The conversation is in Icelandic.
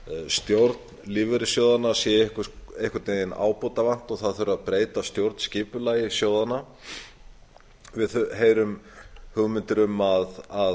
stjórn lífeyrissjóðanna sé einhvern veginn ábótavant og það þurfi að breyta stjórnskipulagi sjóðanna við heyrum umræðu um það að